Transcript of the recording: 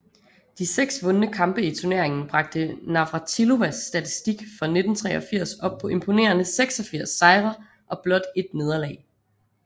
De seks vundne kampe i turneringen bragte Navratilovas statistik for 1983 op på imponerende 86 sejre og blot 1 nederlag